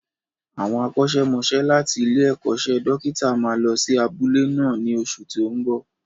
Àwọn akọ́ṣẹ́mọsẹ́ láti ilé-ẹ̀kọ́ṣẹ́ dókítà máa lọ sí abúlé náà ní oṣù tí ó ń bo.